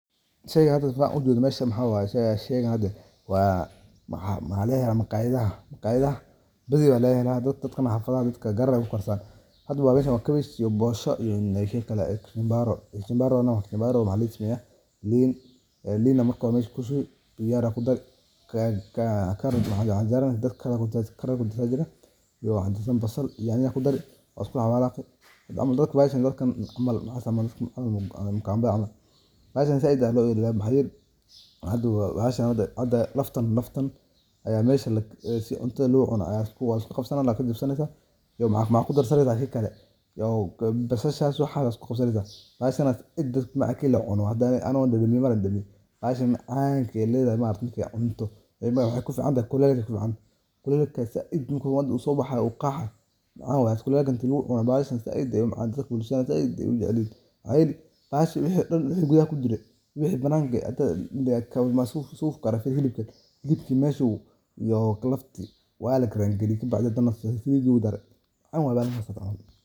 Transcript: Sheeygan setha hada ujeedoh waxawaye, maqayatha bathar lagahelah dadka xafatha hada meshan wakabash iyo bisha iyoxeebaroo iyo kikali leen, leen Aya marki hori mesha kushubi digaga ayakudari carrot iyo dadkali canjeera kudarsani Aya jirah basal iyo nyanya kudari iskudaxqasi camal dadka meshan Aya mukamaba meshan saait bahsan hada kaftan Aya si cunto locunoh Aya laqabsani iyo maxakudarsaneysah bashasi waxasi iskuqabsaneysah Anika marka dadimeeye macanga Aya leethahay maaragtay waxay kuficanatahay kulele kulelka saait marku sobaxayo oo qaax oo kulele lacunoh dadka saait Aya u jaceelyahin wixi kudaha kujiray waxi bananka suqaa helibka meshi iyo lafta Wala karanga gareyi kabacdhi sethasi ladari.